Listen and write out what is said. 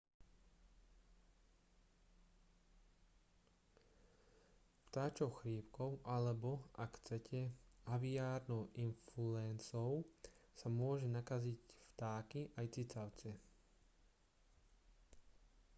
vtáčou chrípkou alebo ak chcete aviárnou influenzou sa môžu nakaziť vtáky aj cicavce